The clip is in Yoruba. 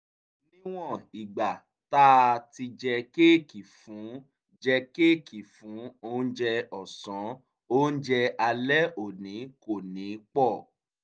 níwọ̀n ìgbà tá a ti jẹ kéèkì fún jẹ kéèkì fún oúnjẹ ọ̀sán oúnjẹ alẹ́ òní kò ní pọ̀